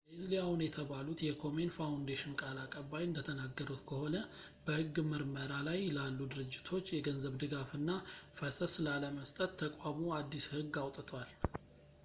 leslie aun የተባሉት የkomen foundation ቃል አቀባይ እንደተናገሩት ከሆነ በሕግ ምርመራ ላይ ላሉ ድርጅቶች የገንዘብ ድጋፍና ፈሰስ ላለመስጠት ተቋሙ አዲስ ሕግ አውጥቷል